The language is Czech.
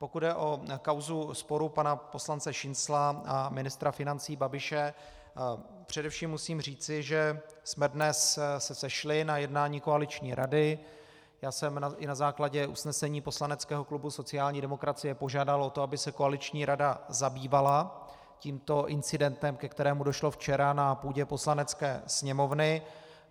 Pokud jde o kauzu sporu pana poslance Šincla a ministra financí Babiše, především musím říci, že jsme se dnes sešli na jednání koaliční rady, já jsem i na základě usnesení poslaneckého klubu sociální demokracie požádal o to, aby se koaliční rada zabývala tímto incidentem, ke kterému došlo včera na půdě Poslanecké sněmovny.